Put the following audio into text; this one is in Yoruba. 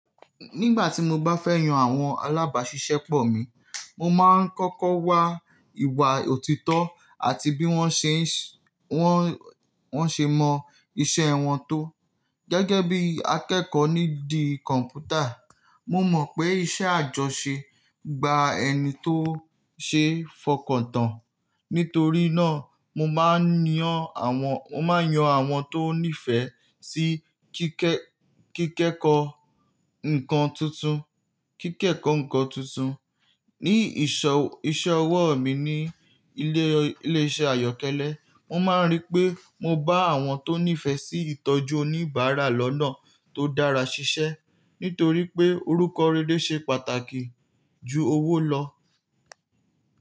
Nígbà tí mo bá fẹ́ yan àwọn alábàáṣiṣẹ́ pọ̀ mí, mo máa ń kọ́kọ́ wa ìwà òtítọ́ àti bí wọ́n ṣe, wọ́n ṣe mọ iṣẹ́ wọn tó. Gẹ́gẹ́ bí akẹ́kọ̀ọ́ nídìí kọ̀m̀pútà, mo mọ̀ pé iṣẹ́ àjọṣe gba ẹni tó ṣe é fọkàn tán. Nítorí náà, mo máa ń yan àwọn, mo máa yan àwọn tó nífẹ̀ẹ́ sí kíkẹ́, kíkẹ́kọ̀ọ́ nǹkan tuntun, kíkẹ́kọ̀ọ́ nǹkan tuntun. Ni ìṣọ, iṣẹ́ ọwọ́ mi ní ilé, ilé iṣẹ́ àyọ́kẹ́lẹ́, mo máa ń rí pé mo bá àwọn tó nífẹ̀ẹ́ sí ìtọ́jú oníbàárà lọ́nà tó dára ṣiṣẹ́. Nítorí pé orúkọ rere ṣe pàtàkì ju owó lọ.